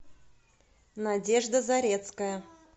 надежда зарецкая